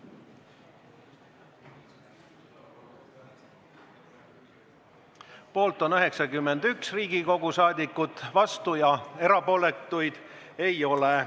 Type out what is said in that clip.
Hääletustulemused Poolt on 91 Riigikogu liiget, vastuolijaid ja erapooletuid ei ole.